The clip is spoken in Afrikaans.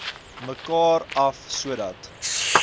mekaar af sodat